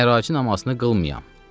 Əraci namazını qılmayam.